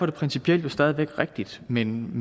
jo principielt stadig væk rigtigt men